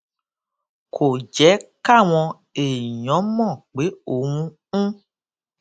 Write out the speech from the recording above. kò jé káwọn èèyàn mò pé òun ń